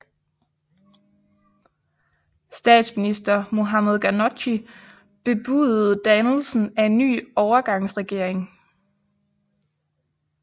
Statsminister Mohamed Ghannouchi bebudede dannelsen af en ny overgangsregering